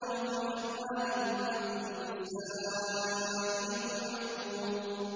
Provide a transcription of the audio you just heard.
وَفِي أَمْوَالِهِمْ حَقٌّ لِّلسَّائِلِ وَالْمَحْرُومِ